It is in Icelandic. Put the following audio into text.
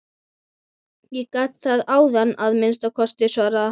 Ég gat það áðan að minnsta kosti, svaraði hann.